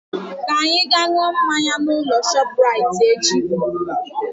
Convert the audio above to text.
Ka anyị ga ṅụọ mmanya na ụlọ ahịa shọpu raiti echi